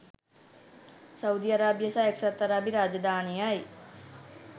Saudi අරාබිය සහ එක්සත් අරාබි රාජධානියයි.